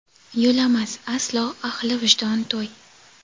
Yo‘lamas aslo ahli vijdon to‘y.